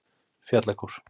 Fjallakór